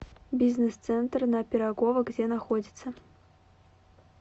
бизнес центр на пирогова где находится